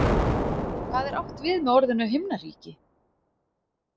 Hvað er átt við með orðinu Himnaríki?